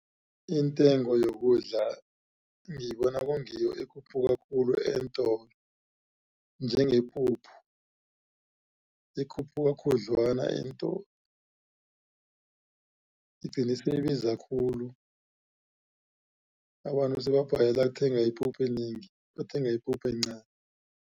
Intengo yokudla ngiyibona kungiyo ekhuphuka khulu eentolo njengepuphu ikhuphuka khudlwana eentolo igcina seyibiza khulu abantu sebabhalelwa kuthenga ipuphu enengi bathenga ipuphu encani.